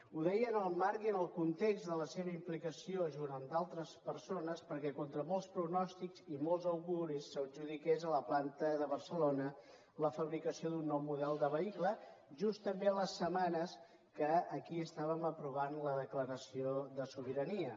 ho deia en el marc i en el context de la seva implicació junt amb d’altres persones perquè contra molts pronòstics i molts auguris s’adjudiqués a la planta de barcelona la fabricació d’un nou model de vehicle just també les setmanes que aquí estàvem aprovant la declaració de sobirania